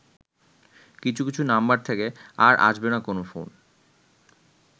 কিছু কিছু নাম্বার থেকে আর আসবেনা কোন ফোন